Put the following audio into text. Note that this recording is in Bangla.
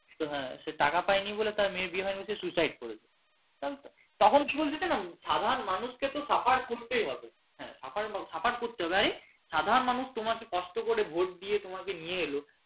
হ্যাঁ সে টাকা পায়নি বলে তার মেয়ের বিয়ে হয়নি বলে সে suicide করেছে তখন এমন হয়েছে না সাধারণ মানুষকে suffer করতেই হবে হ্যাঁ suffer করতেই হবে আরে সাধারণ মানুষ তোমাকে কষ্ট করে ভোট দিয়ে তোমাকে নিয়ে এলো